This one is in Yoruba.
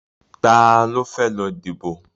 Ta ló fẹ́ lọ díbò?